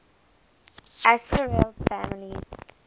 asterales families